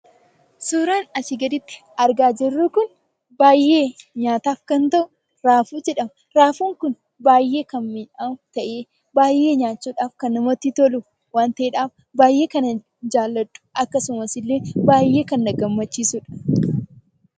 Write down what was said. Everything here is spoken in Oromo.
Suuraan asii gaditti argaa jirru kun baay'ee nyaataaf kan ta'u raafuu jedhama. Raafuun kun baay'ee kan mi'aawu ta'ee baay'ee nyaachuudhaaf kan namatti tolu waan ta'eedhaaf baay'ee kan an jaalladhu akkasumas illee baay'ee kan na gammachiisuu dha.